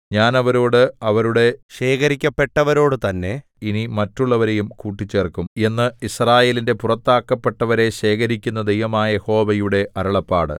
ഞാൻ അവരോട് അവരുടെ ശേഖരിക്കപ്പെട്ടവരോടുതന്നെ ഇനി മറ്റുള്ളവരെയും കൂട്ടിച്ചേർക്കും എന്നു യിസ്രായേലിന്റെ പുറത്താക്കപ്പെട്ടവരെ ശേഖരിക്കുന്ന ദൈവമായ യഹോവയുടെ അരുളപ്പാട്